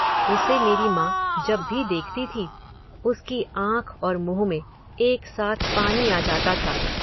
उसे मेरी माँ जब भी देखती थी, उसकी आँख और मुँह में एक साथ पानी आ जाता था।